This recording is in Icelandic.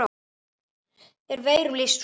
er veirum lýst svo